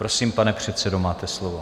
Prosím, pane předsedo, máte slovo.